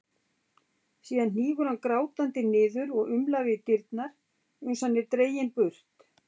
Síðan hnígur hann grátandi niður og umlar við dyrnar uns hann er dreginn burt.